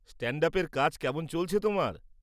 স্ট্যান্ড-আপের কাজ কেমন চলছে তোমার?